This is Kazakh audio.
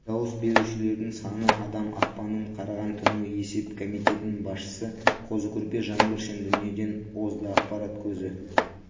дауыс берушілердің саны адам ақпанның қараған түні есеп комитетінің басшысы қозы-көрпеш жаңбыршин дүниеден озды ақпарат көзі